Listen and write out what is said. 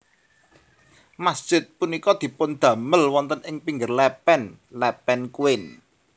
Masjid punika dipundamel wonten ing pinggir lepen Lepen Kuin